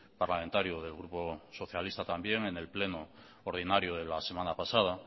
parlamentario del grupo socialista también en el pleno ordinario de la semana pasada